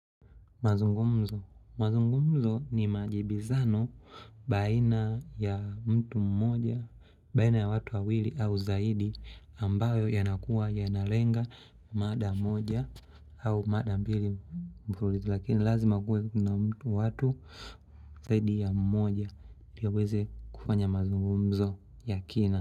Mazungumzo. Mazungumzo ni majibizano baina ya mtu mmoja, baina ya watu wawili au zaidi ambayo yanakua yanalenga mada mmoja au mada mbili mburulizi. Lakini lazima kue kuna mtu watu zaidi ya mmoja liweze kufanya mazungumzo ya kina.